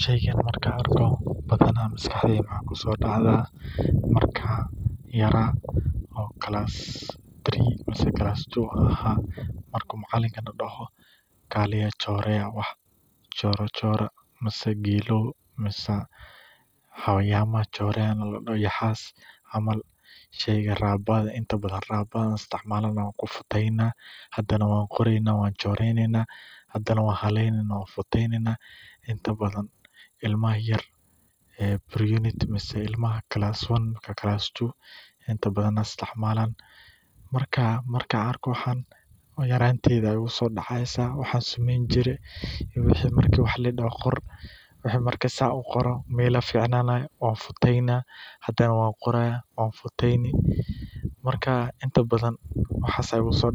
Sheygan markaan arko maskaxdeyda waxaa kusoo dacdaa markaan yaraa, macalinka badaho bahala choreya, hadana waan haleyneyna, hadana waan futeyneyna, markaan arko yaranteyda ayaa igu soo